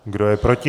Kdo je proti?